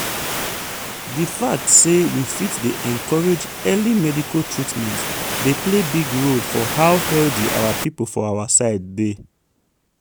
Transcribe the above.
di fact say we fit dey encourage early medical treatment dey play big role for how healthy our people for our side dey.